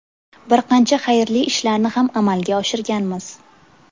Bir qancha xayrli ishlarni ham amalga oshirganmiz.